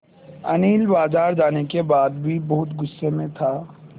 अनिल बाज़ार जाने के बाद भी बहुत गु़स्से में था